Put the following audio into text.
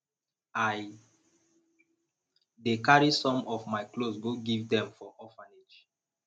i dey carry some of my cloths go give dem for orphanage